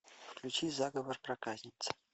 включи заговор проказницы